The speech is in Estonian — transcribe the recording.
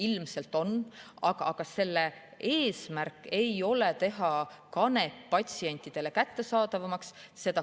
Ilmselt on, aga eesmärk ei ole teha kanep patsientidele kättesaadavamaks.